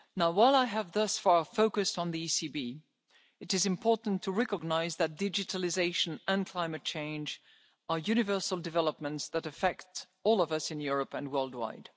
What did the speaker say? journey. While I have thus far focused on the ECB, it is important to recognise that digitalisation and climate change are universal developments that affect all of us in Europe and worldwide.